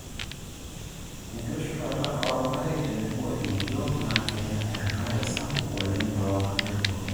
enkitushulata oorpaek tenebo imodiok na keya enakre sapuk oleng too nkaitubulu.